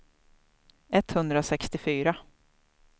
etthundrasextiofyra